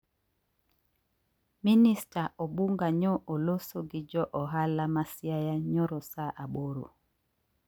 Minista Obunga nyo oloso gi jo ohala ma siaya nyoro saa aboro.